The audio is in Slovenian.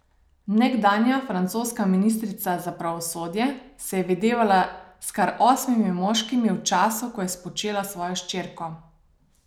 Nekdanja francoska ministrica za pravosodje se je videvala s kar osmimi moškimi v času, ko je spočela svojo hčerko.